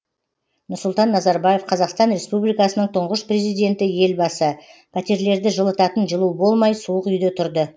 нұрсұлтан назарбаев қазақстан республикасының тұңғыш президенті елбасы пәтерлерді жылытатын жылу болмай суық үйде тұрды